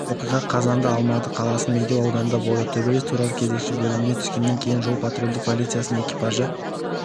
оқиға қазанда алматы қаласының медеу ауданында болды төбелес туралы кезекші бөліміне түскеннен кейін жол-патрульдік полициясының экипажы